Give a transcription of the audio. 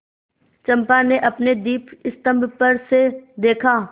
चंपा ने अपने दीपस्तंभ पर से देखा